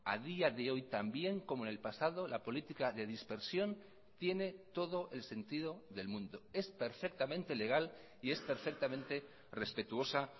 a día de hoy también como en el pasado la política de dispersión tiene todo el sentido del mundo es perfectamente legal y es perfectamente respetuosa